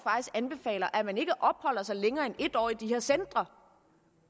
anbefaler at man ikke opholder sig længere end en år i de her centre